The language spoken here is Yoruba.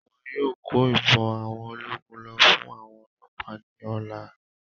Wọn yóò kó Ìbọn àwọn ológun lọ fún àwọn ọlọ́ọ̀pá ní ọ̀la